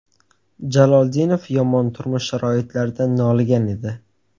Jaloldinov yomon turmush sharoitlaridan noligan edi.